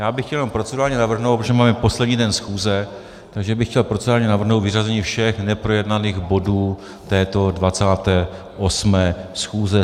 Já bych chtěl jenom procedurálně navrhnout, protože máme poslední den schůze, takže bych chtěl procedurálně navrhnout vyřazení všech neprojednaných bodů této 28. schůze.